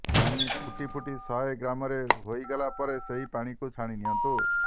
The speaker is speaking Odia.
ଫାଣି ଫୁଟି ଫୁଟି ଶହେ ଗ୍ରାମ ହୋଇଗଲା ପରେ ସେହି ପାଣିକୁ ଛାଣି ନିଅନ୍ତୁ